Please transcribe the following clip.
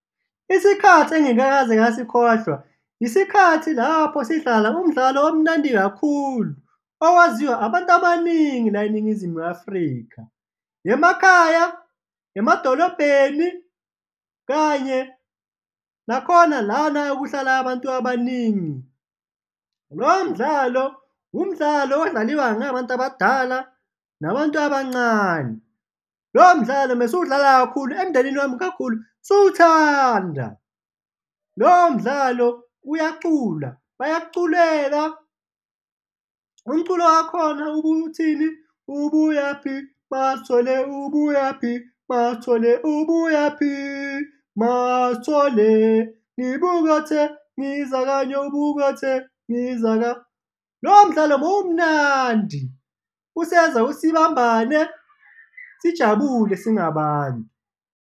Isikhathi engingakaze ngasikhohlwa, isikhathi lapho sidlala umdlalo omnandi kakhulu owaziwa abantu abaningi la eNingizimu Afrika, emakhaya, emadolobheni kanye nakhona lana ekuhlala abantu abaningi. Lowo mdlalo umdlalo odlaliwa na abantu abadala nabantu abancane, lowo mdlalo mesuwudlala kakhulu emndenini wami kakhulu siwuthanda, lowo mdlalo uyacula, bayakuculela, umculo wakhona ubuyuthini? Ubuyaphi MaSithole, ubuyaphi aSithole, ubuyaphi MaSithole? Ngibuy' ukuyotheng' izaka, Ngibuy' ukuyotheng' izaka, lowo mdlalo bewumnandi usenza ukuthi sibambane, sijabule singabantu.